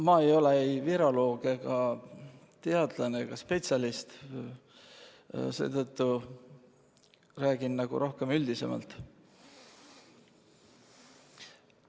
Ma ei ole viroloog, teadlane ega spetsialist, seetõttu räägin rohkem üldiselt.